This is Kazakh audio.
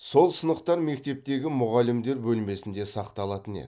сол сынықтар мектептегі мұғалімдер бөлмесінде сақталатын еді